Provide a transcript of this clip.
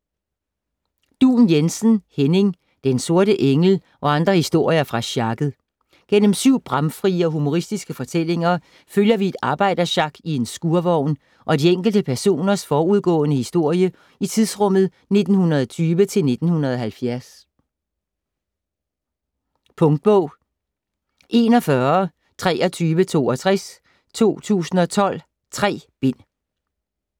Duun Jensen, Henning: Den sorte engel - og andre historier fra sjakket Igennem syv bramfrie og humoristiske fortællinger følger vi et arbejdersjak i en skurvogn og de enkelte personers forudgående historie i tidsrummet 1920-1970. Punktbog 412362 2012. 3 bind.